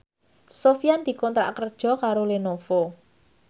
Sofyan dikontrak kerja karo Lenovo